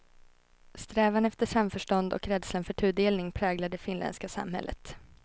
Strävan efter samförstånd och rädslan för tudelning präglar det finländska samhället.